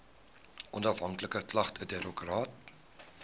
onafhanklike klagtedirektoraat